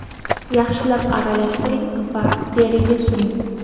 Yaxshilab aralashtiring va teriga suring.